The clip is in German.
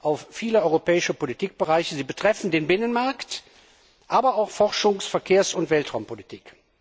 auf viele europäische Politikbereiche. Sie betreffen den Binnenmarkt, aber auch die Forschungs die Verkehrs und die Weltraumpolitik.